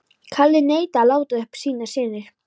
Kalli neitaði að láta uppi sínar sýnir.